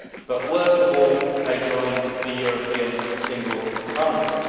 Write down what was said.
But worst of all, they joined the European single currency.